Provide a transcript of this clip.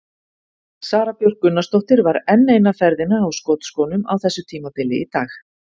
Sara Björk Gunnarsdóttir var enn eina ferðina á skotskónum á þessu tímabili í dag.